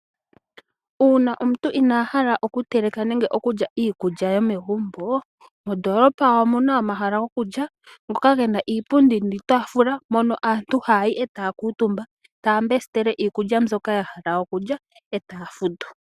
Uuna omuntu inahala oku teleka nenge okulya iikulya yomegumbo. Mondolopa omuna omahala gokulya ngoka gena niipund niitafula moka aantu ha yayi etaya kuutumba etaya pula iikulya mbyoka ya hala okulya etaya futu.